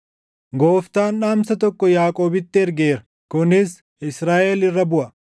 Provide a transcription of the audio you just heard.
Gooftaan dhaamsa tokko Yaaqoobitti ergeera; kunis Israaʼel irra buʼa.